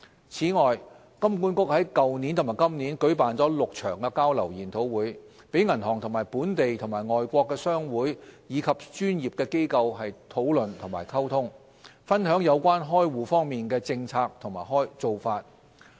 此外，金管局在去年和今年舉辦了6場交流研討會，讓銀行與本地和外國商會及專業機構討論和溝通，分享有關開戶方面的政策和做法。